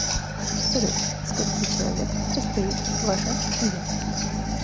салют из скольки человек состоит ваша семья